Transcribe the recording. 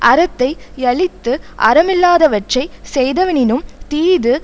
அறத்தை யழித்து அறமில்லாதவற்றைச் செய்வதனினும் தீது